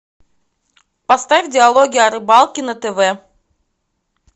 поставь диалоги о рыбалке на тв